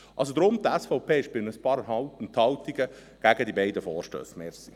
Deswegen ist die SVP mit ein paar Enthaltungen gegen die beiden Vorstösse.